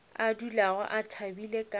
a dulago a thabile ka